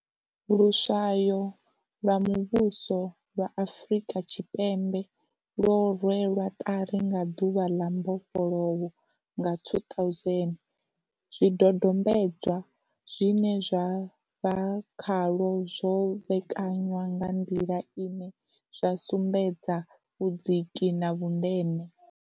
Luswayo lwa Muvhuso lwa Afrika Tshipembe lwo rwelwa ṱari nga ḓuvha ḽa mbofholowo nga 2000. Zwi dodombedzwa zwine zwa vha khalwo zwo vhekanywa nga nḓila ine zwa sumbedza vhudziki na vhundeme.